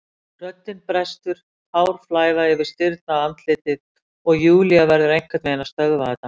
Röddin brestur, tár flæða yfir stirðnað andlitið og Júlía verður einhvern veginn að stöðva þetta.